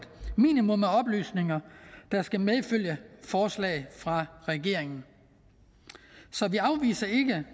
minimum af oplysninger der skal medfølge forslag fra regeringen så vi afviser ikke